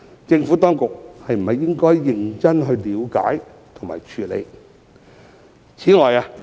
政府當局是否應該認真了解和處理？